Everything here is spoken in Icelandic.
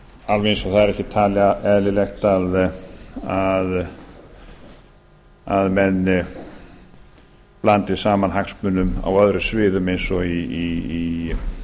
alveg eins og það er ekki talið eðlilegt að menn blandi saman hagsmunum á öðrum sviðum eins og í